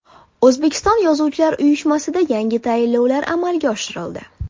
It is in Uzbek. O‘zbekiston yozuvchilar uyushmasida yangi tayinlovlar amalga oshirildi.